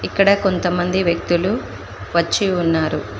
ఇక్కడ కొంతమంది వ్యక్తులు వచ్చి ఉన్నారు.